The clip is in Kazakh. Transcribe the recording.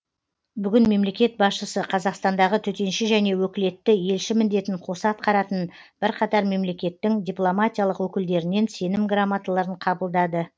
бүгін мемлекет басшысы қазақстандағы төтенше және өкілетті елші міндетін қоса атқаратын бірқатар мемлекеттің дипломатиялық өкілдерінен сенім грамоталарын қабылдады